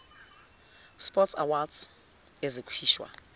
sport awards ezikhishwa